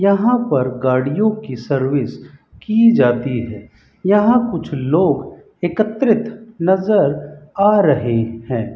यहां पर गाड़ियों की सर्विस की जाती है यहां कुछ लोग एकत्रित नजर आ रहे हैं।